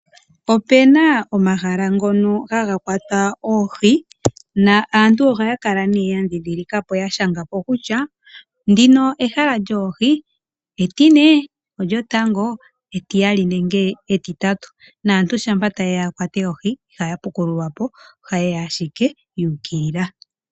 Opena omahala ngono haga kwatwa oohi naantu ohaya kala ne ya ndhindhilikapo ya shangapo kutya ndino ehala lyoohi etine olyotango etiyali nenge etitatu naantu shampa tayeya ya kwate oohi ihaya pukululwapo ohayeya ashike yuukilila.